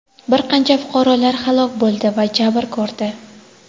bir qancha fuqarolar halok bo‘ldi va jabr ko‘rdi.